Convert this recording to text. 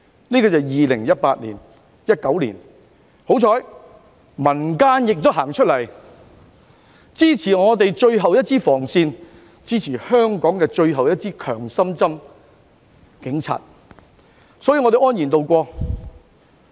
這是2018年至2019年的事，幸好民間人士走出來支持我們的最後一道防線、最後一支強心針——警察，所以我們便安然渡過。